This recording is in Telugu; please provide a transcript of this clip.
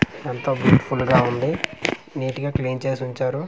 ఎంతో బ్యూటిఫుల్ గా ఉంది నీట్ గా క్లీన్ చేసి ఉంచారు.